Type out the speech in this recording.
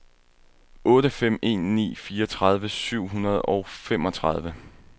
otte fem en ni fireogtredive syv hundrede og femogtredive